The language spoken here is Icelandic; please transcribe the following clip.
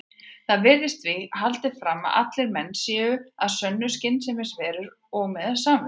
Þar virðist því haldið fram að allir menn séu að sönnu skynsemisverur og með samvisku.